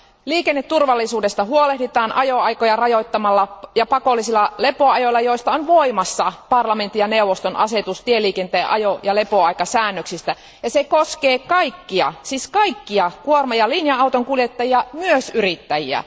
Liikenneturvallisuudesta huolehditaan ajoaikoja rajoittamalla ja pakollisilla lepoajoilla, joista on voimassa parlamentin ja neuvoston asetus tieliikenteen ajo ja lepoaikasäännöksistä ja se koskee kaikkia siis kaikkia kuorma ja linja autonkuljettajia, myös yrittäjiä.